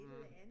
Mh